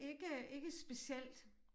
Ikke ikke specielt